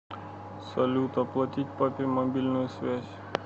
салют оплатить папе мобильную связь